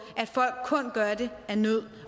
at folk kun gør det af nød